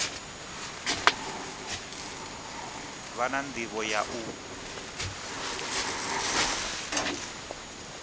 vha na ndivho ya u